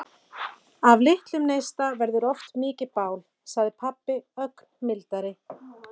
Af litlum neista verður oft mikið bál, sagði pabbi ögn mildari.